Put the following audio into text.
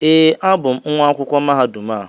ee, abụ m nwa akwụkwọ mahadum a